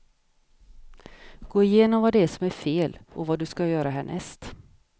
Gå igenom vad det är som är fel och vad du ska göra härnäst.